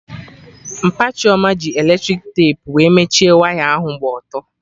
Mpa Chioma ji eletrik tepu wee mechie waya ahụ gba ọtọ